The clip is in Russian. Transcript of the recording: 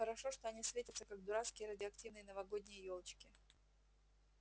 хорошо что они светятся как дурацкие радиоактивные новогодние ёлочки